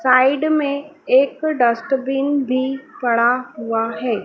Side में एक dustbin भी पड़ा हुआ है।